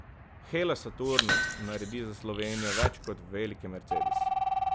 Hella Saturnus naredi za Slovenijo več kot veliki Mercedes.